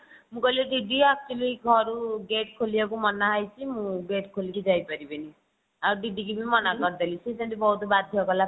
ମୁଁ କହିଲି ଦିଦି actually ଘରୁ gate ଖୋଲିବାକୁ ମନା ହେଇଛି ମୁଁ gate ଖୋଲିକି ଯାଇପାରିବିନି ଆଉ ଦିଦି କୁ ବି ମନା କରିଦେଲି ସେ ଯେମିତି ବହୁତ ବାଧ୍ୟ କଲା